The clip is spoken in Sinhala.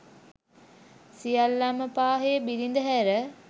සියල්ලන්ම පාහේ බිරිඳ හැර